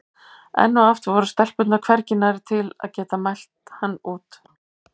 Enn og aftur voru stelpurnar hvergi nærri til að geta mælt hann út.